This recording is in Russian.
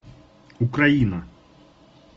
украина